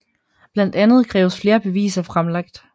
Blandt andet krævedes flere beviser fremlagt